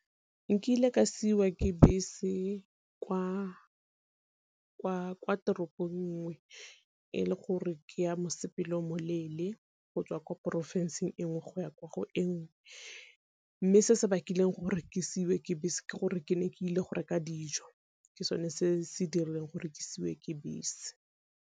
Nkile ka siwa ke bese kwa teropong nngwe e le gore ke ya mosepele o mo leele go tswa kwa porofenseng e ngwe go ya kwa go e ngwe. Mme se se bakileng gore ke seiwe ke bese ke gore ke ne ke ile go reka dijo ke sone se se dirileng gore ke seiwe ke bese.